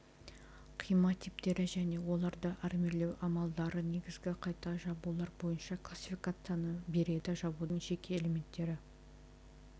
қима типтері және оларды армирлеу амалдары негізгі қайта жабулар бойынша классификацияны береді қайта жабудың жеке элементтері